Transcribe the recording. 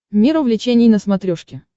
мир увлечений на смотрешке